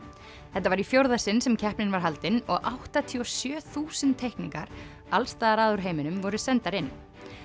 þetta var í fjórða sinn sem keppnin var haldin og áttatíu og sjö þúsund teikningar allsstaðar að úr heiminum voru sendar inn